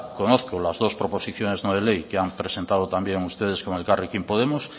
conozco las dos proposiciones no de ley que han presentado también ustedes con elkarrekin podemos